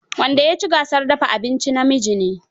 The best cook in the compettition is a man.